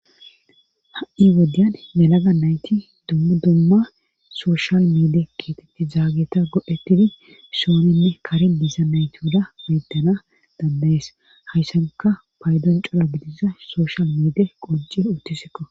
ha7i wodyan yalaga nayti dumma dumma sooshal miide keetetti zaageta godhettidi sooninne karin diiza nayti uda beddana dandayes hayssanka paydon cora gidiza sooshal miide qonci uttisikko